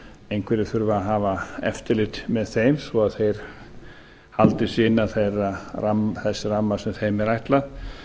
einhverjir þurfa að hafa eftirlit með þeim svo að þeir haldi sig innan þess ramma sem þeim er ætlað